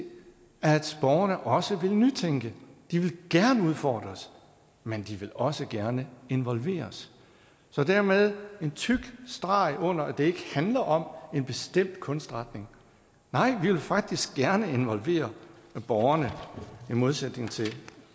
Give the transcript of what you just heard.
at borgerne også vil nytænke de vil gerne udfordres men de vil også gerne involveres så dermed en tyk streg under at det ikke handler om en bestemt kunstretning nej vi vil faktisk gerne involvere borgerne i modsætning til